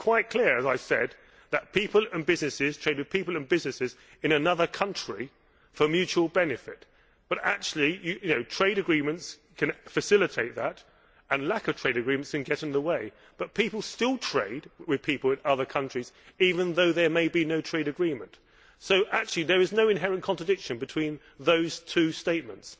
It is quite clear, as I have said, that people and businesses trade with people and businesses in another country for mutual benefit, but actually trade agreements can facilitate that and lack of trade agreements can get in the way. But people still trade with people in other countries, even though there may be no trade agreement, so actually there is no inherent contradiction between those two statements.